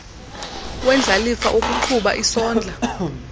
wendlalifa wokuqhuba isondla